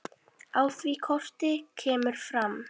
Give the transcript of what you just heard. Á því korti kemur fram